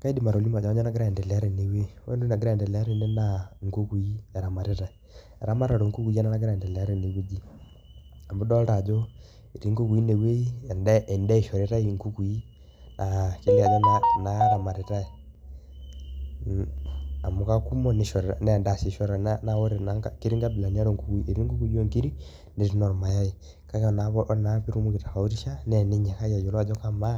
Kaidim atolimu ajo kanyoo nagira aiendelea tene wuei. Ore entoki nagora aendelea tene naa inkukui eramatitai. Eramatare oo nkukui ena nagira aendelea tene wueji amu idolta ajo etii nkukui ine wuei ende endaa ishoritai inkukui aa kelio ajo naaramatitai amu kakumok nishoritai nee endaa sii ishoritai nee naa ketii nkabilani are oo nkukui. Eti nkukui oo inkirik netii inormayai kake ore naa piitumoki aitofautisha naa eninyikaki ayiolou ajo kamaa